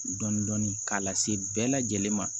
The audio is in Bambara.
Dɔndɔni k'a lase bɛɛ lajɛlen ma